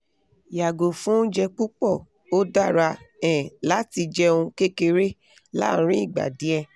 yago fun ounje pupo o dara um lati jeun kekere larin igba die